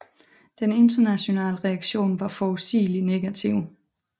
Den internationale reaktion var forudsigeligt negativ